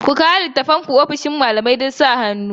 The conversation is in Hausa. Ku kawo littattafanku ofishin malamai don sa hannu